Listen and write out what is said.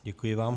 Děkuji vám.